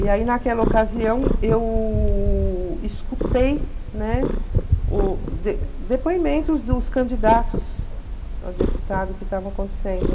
E aí, naquela ocasião, eu escutei, né, o de depoimentos dos candidatos a deputado que estavam acontecendo.